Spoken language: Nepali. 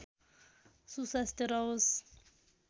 सुस्वास्थ्य रहोस्